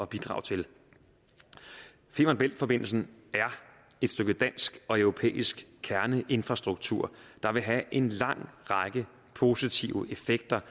bidrage til femern bælt forbindelsen er et stykke dansk og europæisk kerneinfrastruktur der vil have en lang række positive effekter